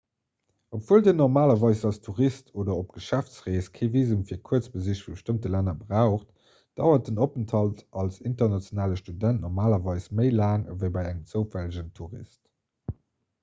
obwuel dir normalerweis als tourist oder op geschäftsrees kee visum fir kuerzbesich vu bestëmmte länner braucht dauert den openthalt als internationale student normalerweis méi laang ewéi bei engem zoufällegen tourist